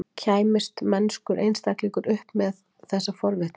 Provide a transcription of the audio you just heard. Kæmist mennskur einstaklingur upp með þessa forvitni?